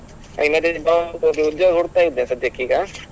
ಹೋಗಿ ಉದ್ಯೋಗ ಹುಡುಕ್ತಾ ಇದ್ದೆ ಸದ್ಯಕ್ಕೆ ಈಗ.